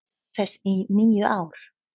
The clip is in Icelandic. þess í níu ár.